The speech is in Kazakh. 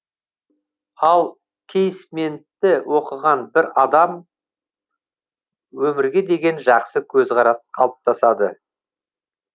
ал кейсментті оқыған бір адам өмірге деген жақсы көзқарас қалыптасады